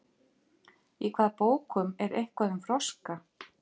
Í hvaða bókum er eitthvað um froska?